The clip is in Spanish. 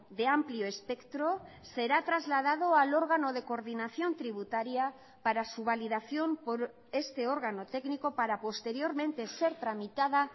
de amplio espectro será trasladado al órgano de coordinación tributaria para su validación por este órgano técnico para posteriormente ser tramitada